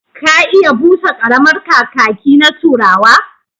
Ka iya busa ƙaramar kakaki na turawa?